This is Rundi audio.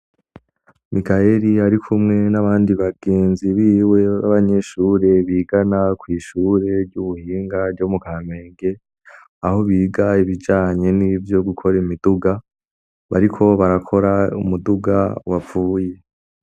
Mikaheli ari kumwe n'abandi bagenzi biwe b'abanyeshure bigana kw'ishure ry'ubuhinga ryo mu Kamenge aho biga ibijanye nivyo gukora imiduga bariko barakora umuduga wapfuye.